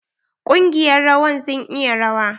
Ƙungiyar rawan sun iya rawa.